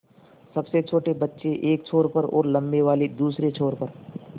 सबसे छोटे बच्चे एक छोर पर और लम्बे वाले दूसरे छोर पर